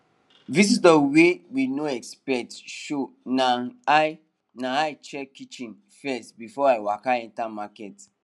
visitor wey we no expect show nai i nai i check kitchen first before i waka enter market